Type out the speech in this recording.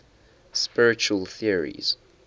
spiritual theories